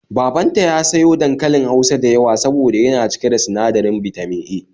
Babanta ya sayo dankalin Hausa da yawa soboda yana cike da sinadirin Bitamin A